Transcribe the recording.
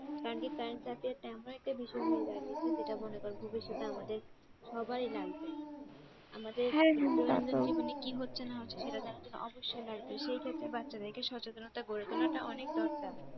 কারণ কি current affair টা এমন একটা বিষয় হয়ে দাঁড়িয়েছে যেটা মনে কর ভবিষ্যতে আমাদের সবারই লাগবে আমাদের দৈনন্দিন জীবনে কি হচ্ছে না হচ্ছে জানার জন্য অবশ্যই লাগবে সেক্ষেত্রে বাচ্চাদের কে সচেতনতা করে তোলা টা অনেক দরকার।